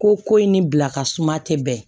Ko ko in ni bila ka suma tɛ bɛn